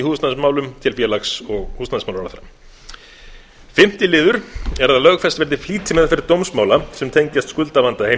húsnæðismálum til félags og húsnæðismálaráðherra fimmti liður er að lögfest verði flýtimeðferð dómsmála sem tengjast skuldavanda